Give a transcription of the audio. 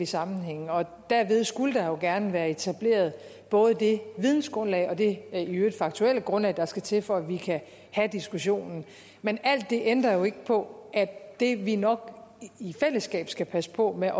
sammenhænge derved skulle der jo gerne være etableret både det vidensgrundlag og det faktuelle grundlag der skal til for at vi kan have diskussionen men alt det ændrer jo ikke på at det vi nok i fællesskab skal passe på med